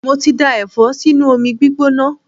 Mo ti da Ẹ̀fọ́ sínú omi gbígbóná.